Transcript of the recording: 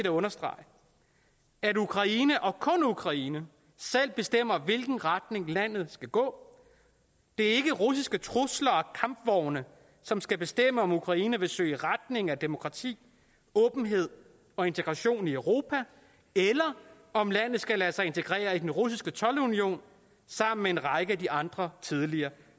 at understrege at ukraine og kun ukraine selv bestemmer i hvilken retning landet skal gå det er ikke russiske trusler og kampvogne som skal bestemme om ukraine vil søge i retning af demokrati åbenhed og integration i europa eller om landet skal lade sig integrere i den russiske toldunion sammen med en række af de andre tidligere